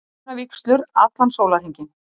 Hjónavígslur allan sólarhringinn